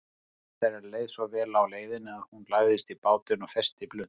Mömmu þeirra leið svo vel á leiðinni að hún lagðist í bátinn og festi blund.